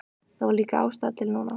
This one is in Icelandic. Það var líka ástæða til núna.